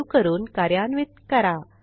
save करून कार्यान्वित करा